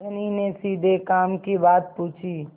धनी ने सीधे काम की बात पूछी